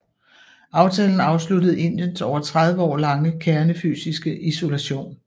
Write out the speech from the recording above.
Aftalen afsluttede Indiens over tredive år lange kernefysiske isolation